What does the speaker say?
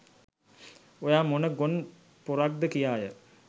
ඔයා මොන "ගොන් පොරක්"ද කියාය.